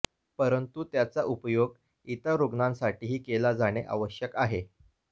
परंतु त्याचा उपयोग इतर रुग्णांसाठीही केला जाणे आवश्यक आहे